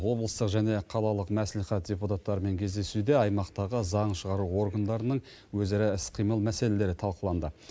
облыстық және қалалық мәслихат депутаттармен кездесуде аймақтағы заң шығару органдарының өзара іс қимыл мәселелері талқыланды